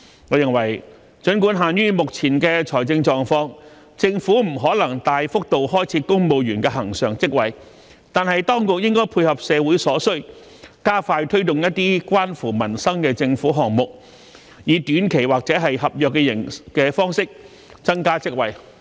我認為儘管限於目前的財政狀況，政府不可能大幅度開設公務員常額職位，但當局應配合社會所需，加快推動一些關乎民生的政府項目，以短期或合約方式增加職位。